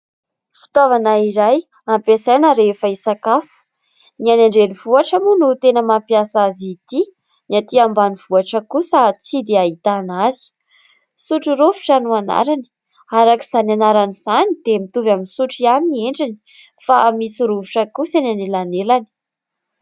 Fitaovana iray ampiasaina rehefa hisakafo ; ny an- drenivohitra moa no tena mampiasa azy ity ny aty ambanivohitra kosa tsy dia ahitana azy sotrorovitra no anarany araka izany anaran'izany dia mitovy amin'ny sotro ihany ny endriny fa misy rovitra kosa ny anelanelany.